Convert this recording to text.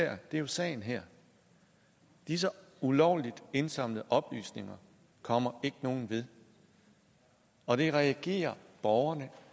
er jo sagen her disse ulovligt indsamlede oplysninger kommer ikke nogen ved og det reagerer borgerne